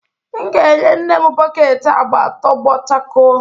M ga-enye nne m bọket agba tọgbọ chakoo